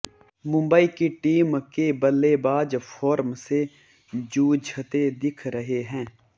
मुंबई की टीम के बल्लेबाज़ फ़ॉर्म से जूझते दिख रहे हैं